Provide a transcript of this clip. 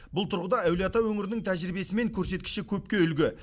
бұл тұрғыда әулиеата өңірінің тәжірибесі мен көрсеткіші көпке үлгі